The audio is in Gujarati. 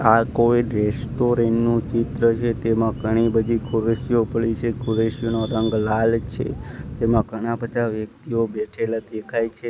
આ કોઈ રેસ્ટોરન્ટ નુ ચિત્ર છે તેમા ઘણી બધી ખુરસીઓ પડી છે ખુરસીનો રંગ લાલ છે તેમા ઘણા બધા વ્યક્તિઓ બેઠેલા દેખાય છે.